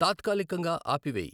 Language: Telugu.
తాత్కాలికంగా ఆపివేయి